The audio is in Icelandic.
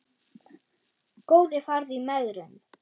Góði farðu í megrun.